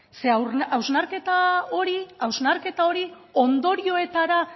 zeren hausnarketa hori ondorioetara